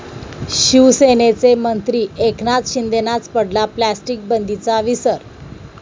शिवसेनेचे मंत्री एकनाथ शिंदेंनाच पडला प्लास्टिक बंदीचा विसर!